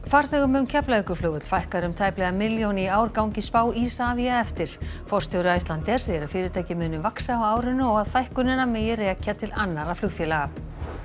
farþegum um Keflavíkurflugvöll fækkar um tæplega milljón í ár gangi spá Isavia eftir forstjóri Icelandair segir að fyrirtækið muni vaxa á árinu og að fækkunina megi rekja til annarra flugfélaga